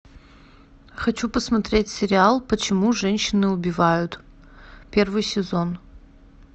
хочу посмотреть сериал почему женщины убивают первый сезон